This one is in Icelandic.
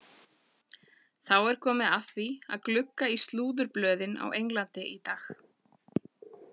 Þá er komið að því að glugga í slúðurblöðin á Englandi í dag.